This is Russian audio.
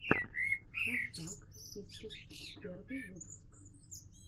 хашак систерс первый выпуск